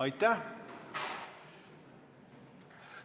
Aitäh!